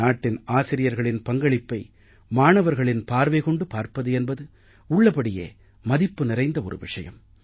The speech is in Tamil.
நாட்டின் ஆசிரியர்களின் பங்களிப்பை மாணவர்களின் பார்வை கொண்டு பார்ப்பது என்பது உள்ளபடியே மதிப்பு நிறைந்த ஒரு விஷயம்